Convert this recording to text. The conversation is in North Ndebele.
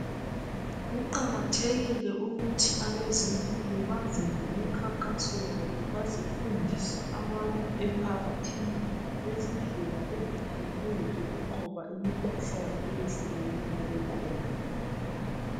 Kuqakathekile ukuthi abezempilo baze lemikhankaso yabo bazefundisa abantu emphakathini ngezindlela ezitshiyeneyo zokunqoba imikhuhlane eyehlukeneyo ekhona.